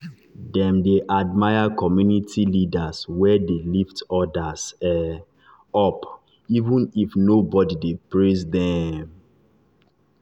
dem dey admire community leaders wey dey lift others um up even if nobody dey praise dem.